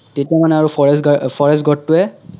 তেতিয়া মানে আৰু forest forest god টো এ